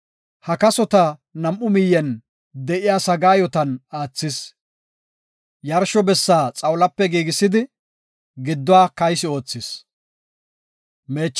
Ha kasota nam7u miyen de7iya sagaayotan aathis. Yarsho bessaa xawulape giigisidi, gidduwa kaysi oothis.